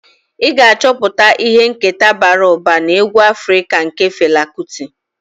Ị ga-achọpụta ihe nketa bara ụba na egwu Afrika nke Fela Kuti.